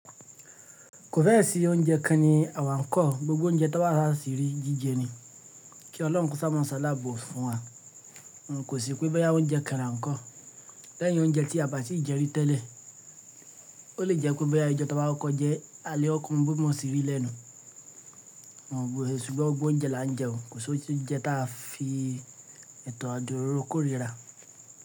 Kò fẹ́ ẹ̀ sí oúnjẹ kan ni àwa ń kọ̀, gbogbo oúnjẹ tí a bá sì rí jíjẹ ni kí Ọlọ́run kó sáà máa ṣàlábò fún wa. Ǹ kò sí pé bóyá oúnjẹ kan là ń kọ́. Lẹ́yìn oúnjẹ tí a bà tí ì jẹ rí tẹ́lẹ̀. Ó lè jẹ́ pé bóyá ijo tí a baa ko ko jẹ́ alẹ́ ko ko mo bí mo ń ṣe rí lẹ́nu. Ṣùgbọ́n gbogbo oúnjẹ là ń jẹ o, kò sí oúnjẹ tí a fi ètò àdúróró kórìíra.